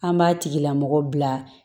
An b'a tigilamɔgɔ bila